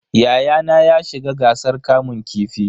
Yayana ya shiga gasar kamun kifi.